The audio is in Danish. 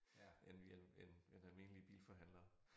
End vi end end almindelige bilforhandlere